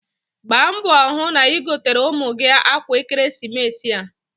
Gbaa mbọ hụ na igotere ụmụ gị akwa n'ekeresimesi a.